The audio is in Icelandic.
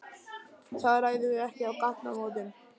Það ræðum við ekki á gatnamótum.